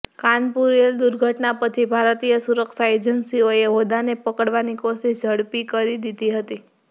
કાનપુર રેલ દુર્ઘટના પછી ભારતીય સુરક્ષા એજંસીઓએ હોદાને પકડવાની કોશિશ ઝડપી કરી દીધી હતી